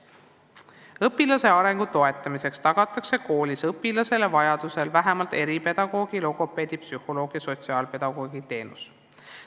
Õpilaste arengu toetamiseks tagatakse koolis neile vajadusel vähemalt eripedagoogi, logopeedi, psühholoogi ja sotsiaalpedagoogi teenused.